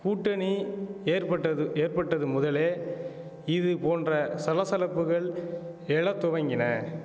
கூட்டணி ஏற்பட்டது ஏற்பட்டது முதலே இது போன்ற சலசலப்புகள் எழத் துவங்கின